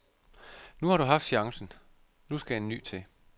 Nu har du haft chancen, nu skal en ny til.